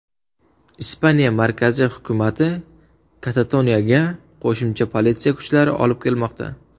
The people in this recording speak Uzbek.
Ispaniya markaziy hukumati Katatoniyaga qo‘shimcha politsiya kuchlarini olib kelmoqda.